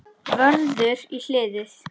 Vörður í hliðið.